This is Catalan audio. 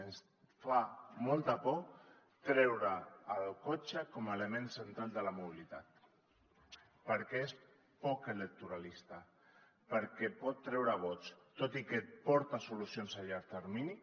ens fa molta por treure el cotxe com a element central de la mobilitat perquè és poc electoralista perquè pot treure vots tot i que porta solucions a llarg termini